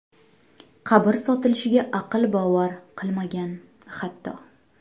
Qabr sotilishiga aql bovar qilmagan, hatto.